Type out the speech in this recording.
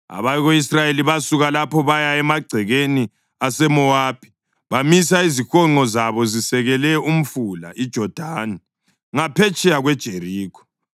Abako-Israyeli basuka lapho baya emagcekeni aseMowabi bamisa izihonqo zabo zisekele umfula iJodani ngaphetsheya kweJerikho.